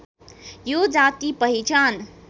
यो जाति पहिचान